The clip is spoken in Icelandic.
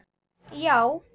Verður hann í startinu?